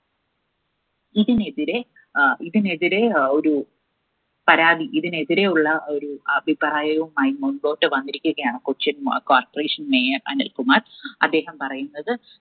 ഇതിനെതിരെ അഹ് ഇതിനെതിരെ ഏർ ഒരു പരാതി ഇതിനെതിരെ ഉള്ള ഒരു അഭിപ്രായവുമായി മുന്പോട്ടുവന്നിരിക്കുകയാണ് കൊച്ചിൻ corporation mayor അനിൽകുമാർ. അദ്ദേഹം പറയുന്നത്